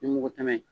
Ni mugu tɛmɛn